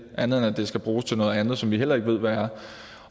andet end at det skal bruges til noget andet som vi heller ikke ved hvad er